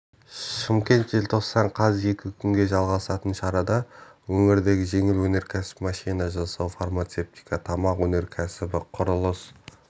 шымкент желтоқсан қаз екі күнге жалғасатын шарада өңірдегі жеңіл өнеркәсіп машина жасау фармацевтика тамақ өнеркәсібі құрылыс